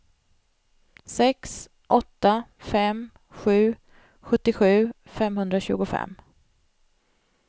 sex åtta fem sju sjuttiosju femhundratjugofem